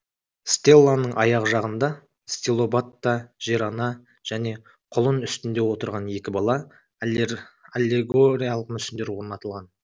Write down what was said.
стелланың аяқ жағында стилобатта жер ана және құлын үстінде отырған екі бала аллегориялық мүсіндер орнатылған